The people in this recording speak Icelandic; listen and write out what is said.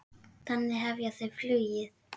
Þannig hefja þau flugið.